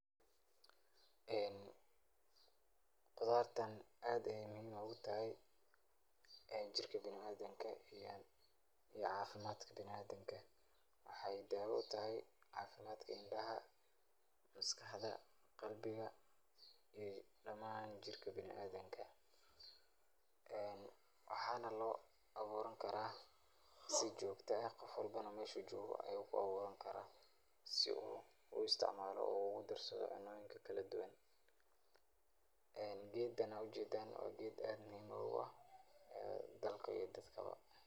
Ee qudaartan aad ayeey muhiim oogu tahay, ee jirka biniadamka iyo cafimaadka biniadamka, waxaay daawo utahay cafimaadka indaha, maskaxda, qalbiga, iyo damaan jirka biniadamka, waxaana loo abuuran karaa si joogta ah, qof walbona meeshu joogo ayuu ku abuuran karaa, si uu uisticmaalo ogu darsado cunooyinka kala duban, ee geedan aad ujeedan waa geed aad muhiim oogu ah dalka iyo dadka ba.